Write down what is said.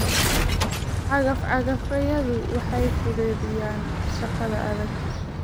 Cagaf-cagafyadu waxay fududeeyaan shaqada adag.